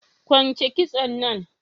Kwunche kitson nan